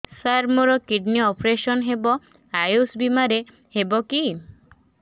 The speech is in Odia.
ସାର ମୋର କିଡ଼ନୀ ଅପେରସନ ହେବ ଆୟୁଷ ବିମାରେ ହେବ କି